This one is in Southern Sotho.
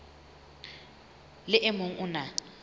le o mong o na